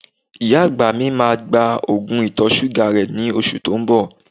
Ìyá àgbà mi máa gba Ògùn ìtọ̀-ṣúgà rẹ ní oṣù tó ń bọ